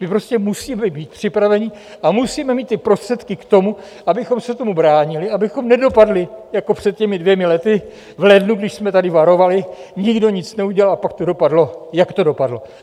My prostě musíme být připraveni a musíme mít ty prostředky k tomu, abychom se tomu bránili, abychom nedopadli jako před těmi dvěma lety v lednu, když jsme tady varovali, nikdo nic neudělal a pak to dopadlo, jak to dopadlo.